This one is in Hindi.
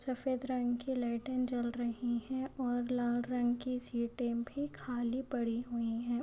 सफ़ेद रंग की लाइटिंग जल रही है और लाल रंग की सीटे भी खाली पड़ी हुई है।